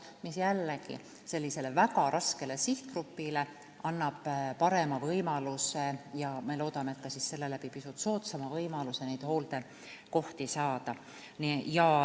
See annab jällegi sellisele väga raskele sihtgrupile parema võimaluse – ja me loodame, et selle läbi ka pisut soodsama võimaluse – hooldekohti saada.